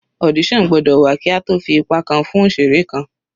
Audition gbọ́dọ̀ wà kí a tó fi ipa kan fún òṣeré kan.